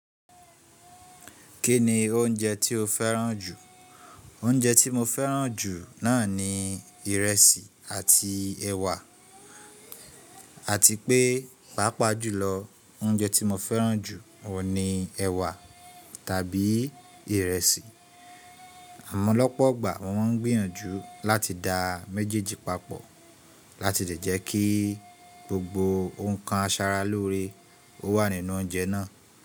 Kí ni oúnjẹ tí o fẹ́ràn jù? Oúnjẹ tí mo fẹ́ràn jù náà ni ìrẹsì àti ẹ̀wà, àti pé, pàápàá jùlọ oúnjẹ tí mo fẹ́ràn jù ò ní ẹwà tàbí ìrẹsì. Ọ̀pọ̀lọpọ̀ ọgbà wọ́n ń gbìyànjú láti dá méjèèjì papọ̀ láti lè jẹ́ kí gbogbo ǹkan asaralóore o wà nínú oúnjẹ náà.